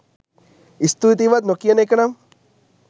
ස්තුතියිවත් නොකියන එකනම්